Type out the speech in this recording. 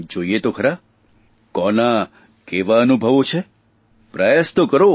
જોઇએ તો ખરા કોના કેવા અનુભવો છે પ્રયાસ તો કરો